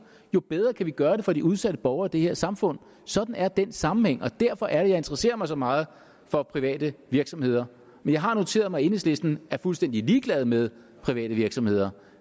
jo bedre kan vi gøre det for de udsatte borgere i det her samfund sådan er den sammenhæng er derfor jeg interesserer mig så meget for private virksomheder men jeg har noteret mig at enhedslisten er fuldstændig ligeglad med private virksomheder